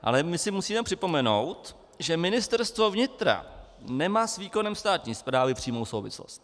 Ale my si musíme připomenout, že Ministerstvo vnitra nemá s výkonem státní správy přímou souvislost.